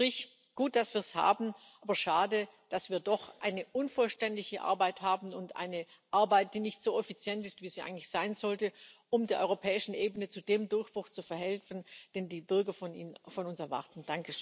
Unterm Strich Gut, dass wir es haben, aber schade, dass wir doch eine unvollständige Arbeit haben und eine Arbeit, die nicht so effizient ist, wie sie eigentlich sein sollte, um der europäischen Ebene zu dem Durchbruch zu verhelfen, den die Bürger von uns erwarten.